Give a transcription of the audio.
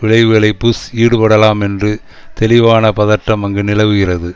விளைவுகளை புஷ் ஈடுபடலாம் எனறு தெளிவான பதட்டம் அங்கு நிலவுகிறது